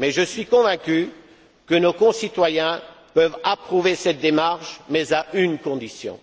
Je suis convaincu que nos concitoyens peuvent approuver cette démarche, mais à une condition